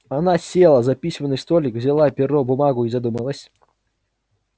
она села за письменный столик взяла перо бумагу и задумалась